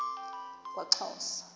kwaxhosa